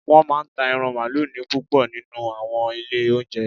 Wọ́n máa ń ta ẹran mààlúù ní púpọ̀ nínú u àwọn ilé óúnjẹ